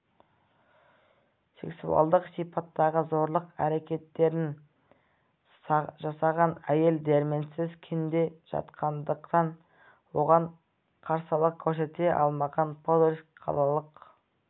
сексуалдық сипаттағы зорлық әрекеттерін жасаған әйел дәрменсіз күйде жатқандықтан оған қарсылық көрсете алмаған подольск қалалық